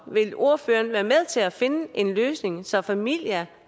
vil ordføreren være med til at finde en løsning så familier